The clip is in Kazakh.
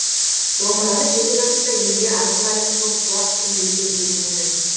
домбыраны жеті жасында елге аты мәлім қосқұлақ пірімбеттен үйренеді